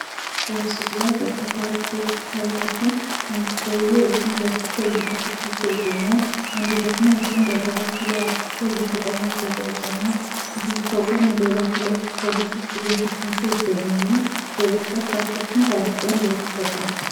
በምስሉ ላይ በርከት ያሉ ሰዎች ይታያሉ አንዱ ሰዉዬ እጁን ዘርግቶ እየተፈተሽ ይገኛል ::ሌሎች ሰዎችም ተራቸዉን እየጠበቁ ይገኛሉ::